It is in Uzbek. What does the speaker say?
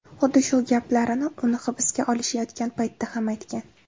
Xuddi shu gaplarini uni hibsga olishayotgan paytda ham aytgan.